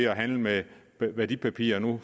at handle med værdipapirer nu